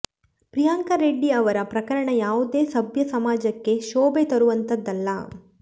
ಪ್ರಿಯಾಂಕಾ ರೆಡ್ಡಿ ಅವರ ಪ್ರಕರಣ ಯಾವುದೇ ಸಭ್ಯ ಸಮಾಜಕ್ಕೆ ಶೋಭೆ ತರುವಂತಹದ್ದಲ್ಲ